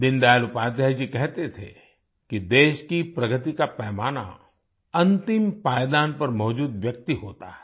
दीनदयाल उपाध्याय जी कहते थे कि देश की प्रगति का पैमाना अंतिम पायदान पर मौजूद व्यक्ति होता है